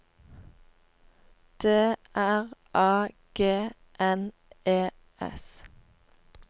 D R A G N E S